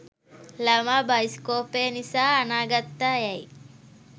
ළමා බයිස්කෝපය නිසා අනාගත්තා යැයි